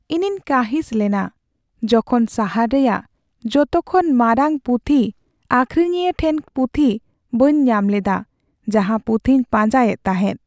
ᱤᱧᱤᱧ ᱠᱟᱺᱦᱤᱥ ᱞᱮᱱᱟ ᱡᱚᱠᱷᱚᱱ ᱥᱟᱦᱟᱨ ᱨᱮᱭᱟᱜ ᱡᱚᱛᱚ ᱠᱷᱚᱱ ᱢᱟᱨᱟᱝ ᱯᱩᱛᱷᱤ ᱟᱹᱠᱷᱨᱤᱧᱤᱭᱟᱹ ᱴᱷᱮᱱ ᱯᱩᱛᱷᱤ ᱵᱟᱹᱧ ᱧᱟᱢ ᱞᱮᱫᱟ ᱡᱟᱦᱟᱸ ᱯᱩᱛᱦᱤᱧ ᱯᱟᱸᱡᱟᱭᱮᱫ ᱛᱟᱦᱮᱸᱫ ᱾